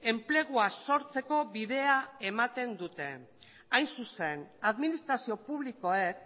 enplegua sortzeko bidea ematen dute hain zuzen administrazio publikoek